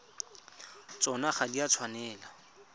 tsona ga di a tshwanela